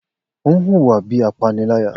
O n huwa bi apanilaya